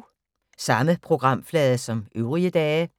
Samme programflade som øvrige dage